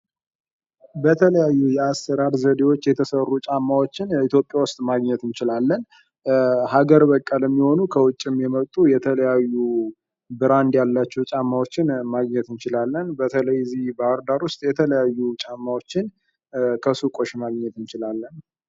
በተለያዩ የአሰራር ዘዴዎች የተሰሩ ጫማዎችን ኢትዮጵያ ውስጥ ማግኘት እንችላለን። ሀገር በቀልም የሆኑ ከውጭም የመጡ የተለያዩ ብራንድ ያላቸው ጫማዎችን ማግኘት እንችላለን በተለይ እዚህ ባህርዳር ውስጥ የተለያዩ ጫማዎችን ከሱቆች ማግኘት እንችላለን።